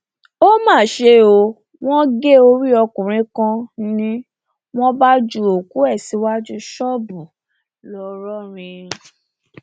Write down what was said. ó mà ṣe o wọn gé orí ọkùnrin kan ni wọn bá ju òkú ẹ síwájú ṣọọbù ńlọrọrìn